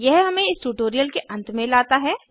यह हमें इस ट्यूटोरियल के अंत में लता है